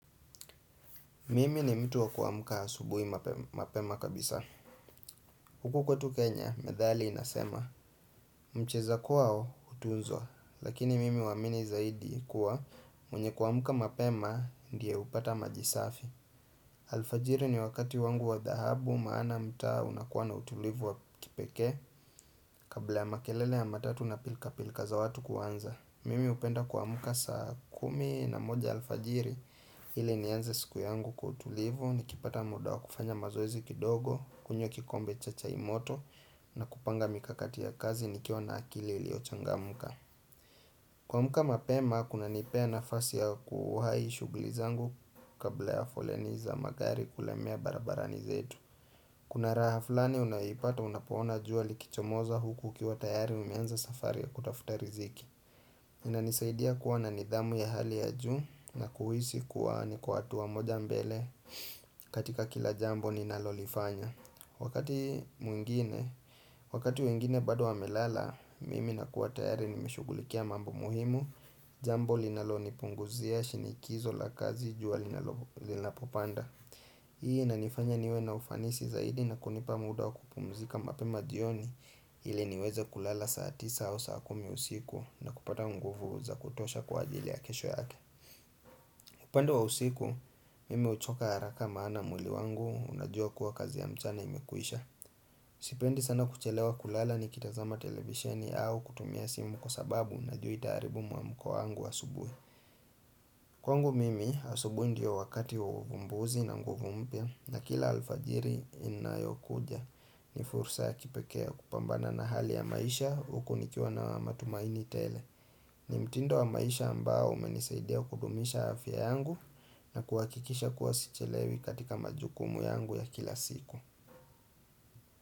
Mimi ni mtu wa kuamka asubuhi mapema kabisa. Huku kwetu Kenya, methali inasema, “mcheza kwao hutuzwa,” lakini mimi huamini zaidi kuwa mwenye kuamka mapema ndiye hupata maji safi. Alfajiri ni wakati wangu wa dhahabu, maana mtaa unakuwa na utulivu wa kipekee kabla ya makelele ya matatu na pilikapilika za watu kuanza. Alfajiri ni wakati wangu wa dhahabu, maana mtaa unakuwa na utulivu wa kipekee kabla ya makelele ya matatu na pilikapilika za watu kuanza. Kuamka mapema kunanipa nafasi ya kufanya shughuli zangu kabla ya foleni za magari kulemea barabara zetu. Kuna raha fulani unayopata unapoona jua likichomoza huku ukiwa tayari umeanza safari ya kutafuta riziki. Inanisaidia kuwa na nidhamu ya hali ya juu na kuhisi kuwa niko hatua moja mbele katika kila jambo ninalolifanya. Wakati mwingine, wengine bado wamelala, mimi ninakuwa tayari nimeshughulikia mambo muhimu. Jambo linalonipunguzia shinikizo la kazi, jua linapopanda. Hii inanifanya niwe na ufanisi zaidi na kunipa muda wa kupumzika mapema jioni. Ili niweze kulala saa tisa au saa kumi usiku na kupata nguvu za kutosha kwa ajili ya kesho yake. Upande wa usiku, mimi huchoka haraka maana mwili wangu unajua kuwa kazi ya mchana imekwisha. Sipendi sana kuchelewa kulala nikitazama televisheni au kutumia simu kwa sababu najua taratibu mwa mwili wangu wa asubuhi. Kwa upande wangu, asubuhi ndiyo wakati wa uvumbuzi na nguvu mpya na kila alfajiri inayokuja. Ni fursa ya kipekea kupambana na hali ya maisha huku nikiwa na matumaini tele ni mtindo wa maisha ambao umenisaidea kudumisha afya yangu na kuakikisha kuwa sichelewi katika majukumu yangu ya kila siku.